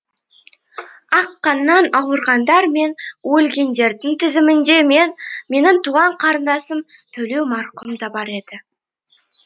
ақ қаннан ауырғандар мен өлгендердің тізімінде менің туған қарындасым төлеу марқұм да бар еді